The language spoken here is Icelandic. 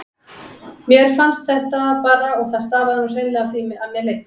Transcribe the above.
Mér fannst þetta bara og það stafaði nú hreinlega af því að mér leiddist.